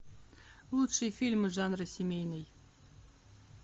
лучшие фильмы жанра семейный